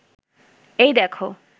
এই দেখো